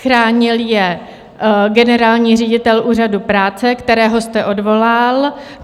Chránil je generální ředitel Úřadu práce, kterého jste odvolal.